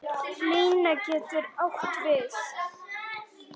Lína getur átt við